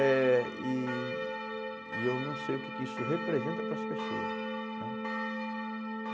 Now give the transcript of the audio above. Eh e eu não sei o que que isso representa para as pessoas, né?